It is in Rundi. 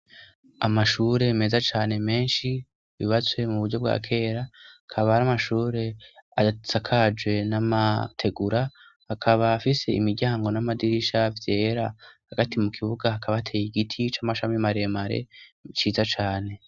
amashure meza cane menshi bibatswe mu buryo bwa kera kaba ari amashure asakajwe n'amategura akaba afise imiryango n'amadirisha vyera hagati mu kibuga akaba ateye igiti c'amashami maremare ciza cane